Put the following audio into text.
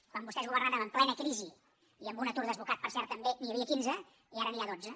quan vostès governaven en plena crisi i amb un atur desbocat per cert també n’hi havia quinze i ara n’hi ha dotze